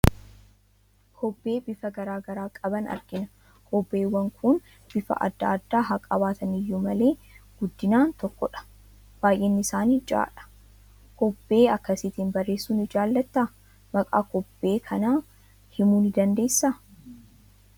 Kobbee bifa garaa garaa qaban argina. Kobbeewwan kun bifa adda addaa haa qabaatan iyyuu malee, guddinaan tokkodha. Baay'inni isaanii ja'adha. Kobbee akkasiitiin barreessuu ni jaalattaa? Maqaa kobbee kanaa himuu ni dandeessaa?